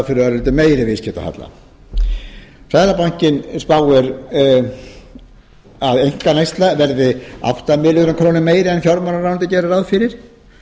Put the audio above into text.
fyrir örlítið meiri viðskiptahalla seðlabankinn spáir að einkaneysla verði átta milljörðum króna meiri en fjármálaráðuneyti gerir ráð fyrir